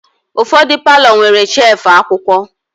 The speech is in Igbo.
Ụfọdụ palọ nwere shevu akwụkwọ.